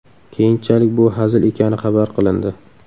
Keyinchalik bu hazil ekani xabar qilindi.